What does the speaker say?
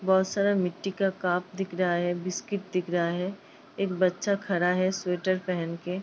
बहुत सारा मिट्टी का कप दिख रहा है बिस्किट दिख रहा है। एक बच्चा खड़ा है स्वेटर पहन के।